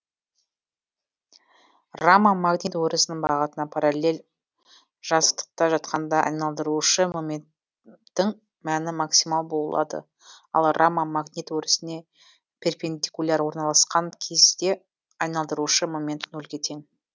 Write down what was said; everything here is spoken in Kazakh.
рама магнит өрісінің бағытына параллель жазықтықта жатқанда айналдырушы моменттің мәні максимал болады ал рама магнит өрісіне перпендикуляр орналаскан кезде айналдырушы момент нөлге тең